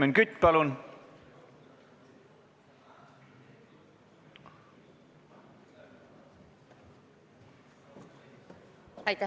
Helmen Kütt, palun!